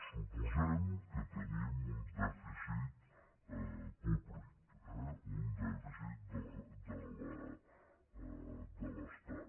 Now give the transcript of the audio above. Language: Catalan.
suposem que tenim un dèficit públic un dèficit de l’es·tat